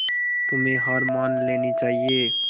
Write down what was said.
तुम्हें हार मान लेनी चाहियें